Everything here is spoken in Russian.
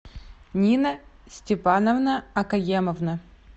нина степановна акаемовна